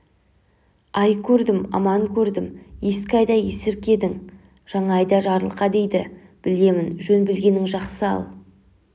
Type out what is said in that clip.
ай көрдім аман көрдім ескі айда есіркедің жаңа айда жарылқа дейді білемін жөн білгенің жақсы ал